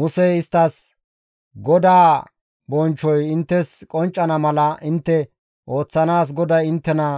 Musey isttas, «GODAA bonchchoy inttes qonccana mala intte ooththanaas GODAY inttena